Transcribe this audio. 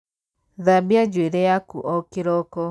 Thambia njuīrī yaku o kīroko.